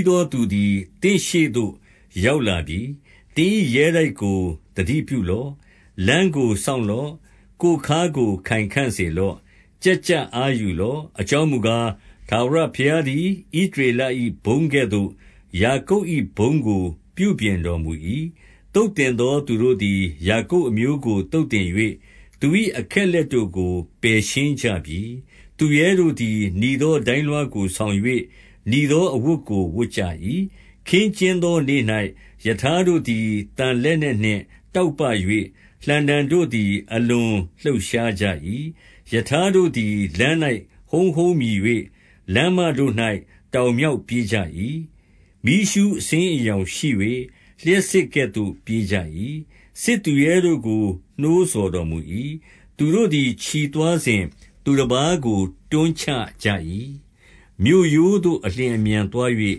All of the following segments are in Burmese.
းသောသူသည် သင့်ရှေ့သို့ ရောက်လာ ပြီ။ သင်၏ရဲတိုက်ကို သတိပြုလော့။ လမ်းကို စောင့် လော့။ ကိုယ်ခါးကို ခိုင်ခံ့စေလော့။ ကျပ်ကျပ်အား ယူလော့။ 2 အကြောင်းမူကား၊ ထာဝရဘုရားသည် ဣသ ရေလ၏ဘုန်းကဲ့သို့ ယာကုပ်၏ဘုန်းကို ပြုပြင်တော်မူ၏။ သုတ်သင်သော သူတို့သည် ယာကုပ်အမျိုးကို သုတ်သင် ၍၊ သူ၏အခက်အလက်တို့ကို ပယ်ရှင်းကြပြီ။ 3 သူရဲတို့သည် နီသော ဒိုင်းလွှားကို ဆောင်၍၊ နီသော အဝတ်ကိုဝတ်ကြ၏။ ခင်းကျင်းသောနေ့၌ ရထား တို့သည် သံလက်နက်နှင့် တောက်ပ၍၊ လှံတံတို့သည် အလွန်လှုပ်ရှားကြ၏။ 4 ရထားတို့သည် လမ်း၌ ဟုန်းဟုန်းမြည်၍၊ လမ်းမတို့၌ တောင်မြောက်ပြေးကြ၏။ မီးရူးအဆင်း အရောင်ရှိ၍၊ လျှပ်စစ်ကဲ့သို့ ပြေးကြ၏။ 5 စစ်သူရဲတို့ကို နှိုးဆော်တော်မူ၏။ သူတို့သည် ချီသွားစဉ် သူတပါးကို တွန်းချကြ၏။ မြို့ရိုးသို့ အလျင် အမြန်သွား၍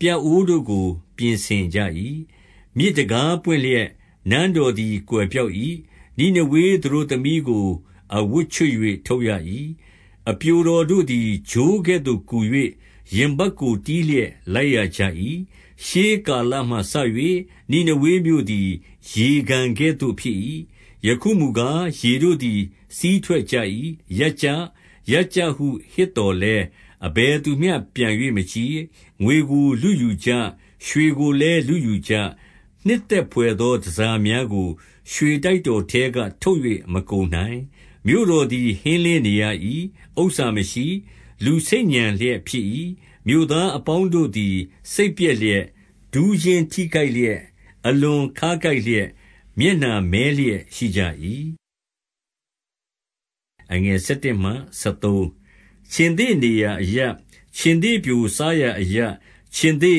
ပြအိုးတို့ကို ပြင်ဆင်ကြ၏။ 6 မြစ်တံခါးပွင့်လျှင်၊ နန်းတော်သည် ကွယ်ပျောက် ၏။ နိနေဝေသတို့သမီးကို အဝတ်ချွတ်၍ ထုတ်ရ၏။ 7 အပျိုတော်တို့သည် ချိုးကဲ့သို့ ကူ၍ ရင်ပတ်ကို တီးလျက် လိုက်ရကြ၏။ 8 ရှေးကာလမှစ၍ နိနေဝေမြို့သည် ရေကန်ကဲ့သို့ ဖြစ်၏။ ယခုမူကား၊ ရေတို့သည် စီးထွက်ကြ၏။ ရပ်ကြ။ ရပ်ကြဟုဟစ်သော်လည်း အဘယ်သူမျှ ပြန်၍ မကြည့်။ 9 ငွေကို လုယူကြ။ ရွှေကိုလည်း လုယူကြ။ နှစ် သက်ဘွယ်သော တန်ဆာများကို ရွှေတိုက်တော်ထဲက ထုတ်၍ မကုန်နိုင်။ 10 မြို့တော်သည် ဟင်းလင်းနေရ၏။ ဥစ္စာမရှိ၊ လူဆိတ်ညံလျက် ဖြစ်၏။ မြို့သားအပေါင်းတို့သည် စိတ် ပျက်လျက်၊ ဒူးချင်းထိခိုက်လျက်၊ အလွန်ခါးကိုက်လျက်၊ မျက်နှာမည်းလျက် ရှိကြ၏။ 11 ခြင်္သေ့နေရာအရပ်၊ ခြင်္သေ့ပျို စားရာအရပ်၊ ခြင်္သေ့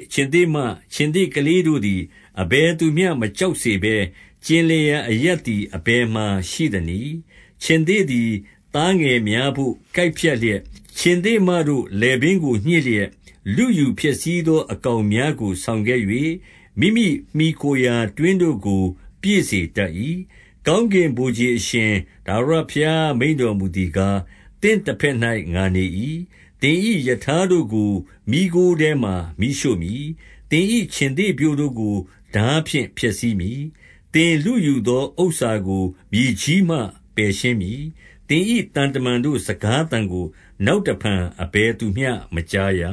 ၊ ခြင်္သေ့မ၊ ခြင်္သေ့ကလေးတို့သည် အဘယ်သူမျှ မကြောက်စေဘဲ၊ ကျင်လည်ရာအရပ်သည် အဘယ်မှာ ရှိသနည်း။ 12 ခြင်္သေ့သည် သားငယ်များတို့ ကိုက်ဖြတ်လျက်၊ ခြင်္သေ့မတို့ လည်ပင်းကို ညှစ်လျက်၊ လုယူဖျက်ဆီးသော အကောင်များကို ဆောင်ခဲ့၍ မိမိမှီခိုရာတွင်းတို့ကို ပြည့် စေတတ်၏။ 13 ကောင်းကင်ဗိုလ်ခြေအရှင် ထာဝရဘုရားမိန့် တော်မူသည်ကား၊ သင့်တဘက်၌ ငါနေ၏။ သင်၏ရထား တို့ကို မီးခိုးထဲမှာ မီးရှို့မည်။ သင်၏ခြင်္သေ့ပျိုတို့ကို ထား ဖြင့် ဖျက်ဆီးမည်။ သင်လုယူသော ဥစ္စာကို မြေကြီးမှ ပယ်ရှင်းမည်။ သင်၏သံတမန်တို့ စကားသံကို နောက် တဖန် အဘယ်သူမျှ မကြားရ။